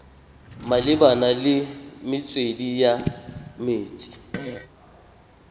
malebana le metswedi ya metsi